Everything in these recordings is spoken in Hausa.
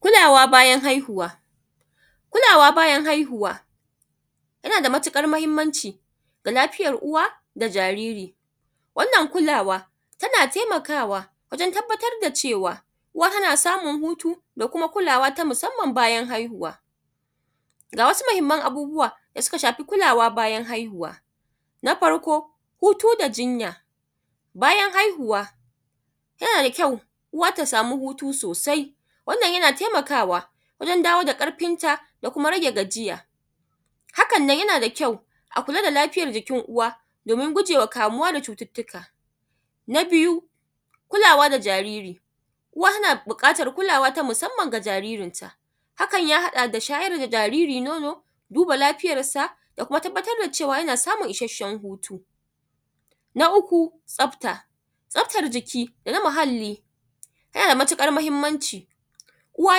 Kulawa bayan ahihuwa yana da matuƙar muhinmanci ga lafiyar uwa da jariri wannan kulawa tana taimakawa wajen tabbatar da cewa uwa tana samun hutu da kuma kulawa ta musanman bayan haihuwa. Ga wssu muhinman abubuwa da suka shafi kulawa bayan haihuwa: na farko hutu da jinya bayan haihuwa yana da kyau uwa ta sama hutu sosai wannnan yana taimkawa wajen dawo da ƙarfinta da kuma rage gajiya hakanan yanada kyau akula da lfiyan jikin uwa domin gujewa kamuwa da cututtuka. Na biyu kulawa da jariri uwa na buƙatankulawa na musanman ga jaririnta hakan ya haɗa da shayar da jaririn nono duba lafiyansa da kuma tabbatar da cewa yana samun isashshen hutu. Na uku tsafta, tsaftan jiki da muhalli yanada mauƙar muhinmanci uwa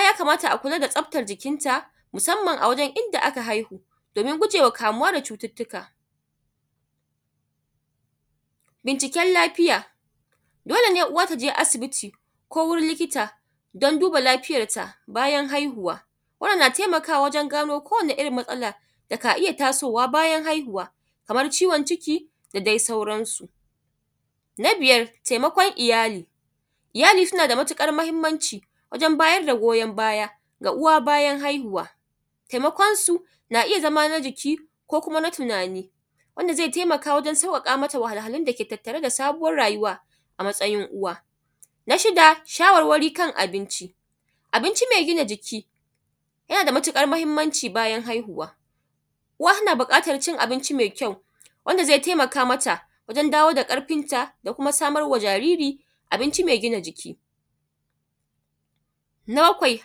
yakamata akula da tsaftan jikinta musanman a wajen inda ka haihu domin gujewa kamuwa da cututtuka. Binciken lafiya dole ne uwa ta je asibiti ko wurin likita don duba lafiyanta bayan haihuwa wannan na taimakawa wajen gano ko wani irin matsala ka iya tasowa bayan haihuwa kaman ciwon ciki da dai sauransu. Na biyar d taimakon iyali iyali suna da matuƙar mahinmanci wajen bayar ga goyan baya ga uwa bayan haihuwa taimakonsu na iya zama na jiki ko kuma na tunani wanda zai taimakama wajen tattara wahahhalun da ke tattare da sabuwan rayuwa a matsayin uwa. Na shida shawarwari kan abinci abinci me gina jiki yana da matuƙar muhinmanci bayan haihuwa uwa na buƙatan cin abinci mai kyau wanda zai taimka mata wajen dawo da ƙarfinta da kuma samar ma jariri abinci mai gina jiki. Na bakwai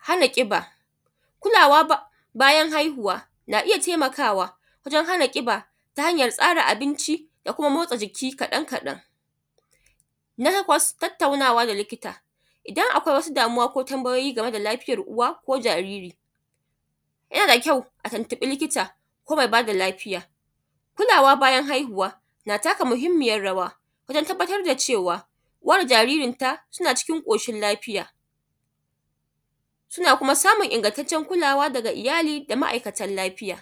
hana ƙiba kulawa bayan haihuwa ka iya taimkawa wajen hana ƙiba ta hanyan tsara abinci da kuma motsa jiki kaɗan kaɗan, na takwas tattaunawa da likita idan akwai wasu damuwa ko tanbayoyi game da lafiyan uwa da jariri yana da kyau a tanbaye likita ko mai ba da lafiya kulawa bayan haihuwa na taka muhinmiyan rawa wajen tabbatar da cewa uwa da jaririnta suna cikin ƙoshin lafiya, suna kuma samun ingantaccen kulawa daga iyali da ma’aikatan lafiya.